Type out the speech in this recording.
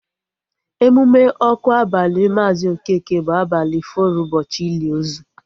Emume ọkụ abali Maazi Okeke bụ abalị fọrọ ụbọchị ili ozu